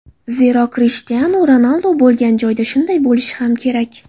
Zero, Krishtianu Ronaldu bo‘lgan joyda shunday bo‘lishi ham kerak.